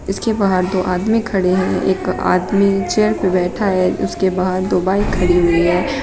इसके बाहर तो आदमी खड़े हैं एक आदमी चेयर पे बैठा है उसके बाद दो बाइक खड़ी हुई है।